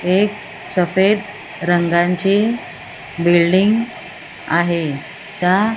एक सफेद रंगांचे बिल्डिंग आहे त्या --